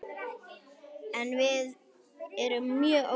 Við erum mjög ólíkar.